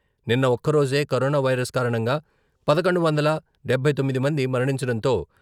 నిన్న ఒక్కరోజే corona virus కారణంగా పదకొండు వందల డబ్బై తొమ్మిది మంది మరణించడంతో...